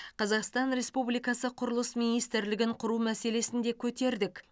қазақстан республикасы құрылыс министрлігін құру мәселесін де көтердік